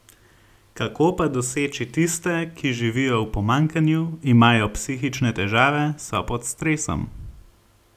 Kako pa doseči tiste, ki živijo v pomanjkanju, imajo psihične težave, so pod stresom?